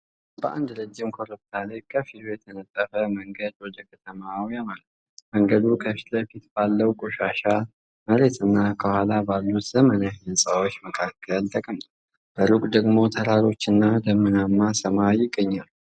በአንድ ረጅም ኮረብታ ላይ ከፊሉ የተነጠፈ መንገድ ወደ ከተማዋ ያመራል:: መንገዱ ከፊት ለፊት ባለው ቆሻሻ መሬትና ከኋላ ባሉት ዘመናዊ ሕንፃዎች መካከል ተቀምጧል:: በሩቅ ደግሞ ተራሮችና ደመናማ ሰማይ ይገኛሉ::